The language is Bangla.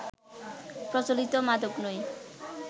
প্রচলিত মাদক নয়